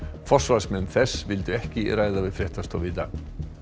forsvarsmenn þess vildu ekki tala við fréttastofu í dag